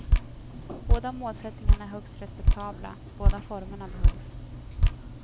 Båda målsättningarna är högst respektabla, båda formerna behövs.